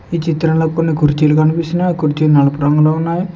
ఈ చిత్రంలో కొన్ని కుర్చీలు కనిపిస్తున్నయి ఆ కుర్చీలు నలుపు ఉన్నాయి.